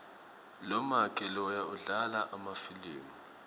lomake loya udlala emafilimu